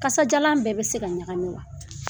Kasadiyalan bɛɛ bɛ se ka ɲagami wa?